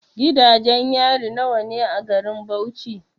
Gidajen yari nawa ne a garin Bauchi?